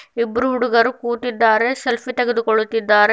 ಇಬ್ರು ಹುಡುಗರು ಕೂತಿದ್ದಾರೆ ಸೆಲ್ಫಿ ತೆಗೆದುಕೊಳ್ಳುತ್ತಿದ್ದಾರೆ.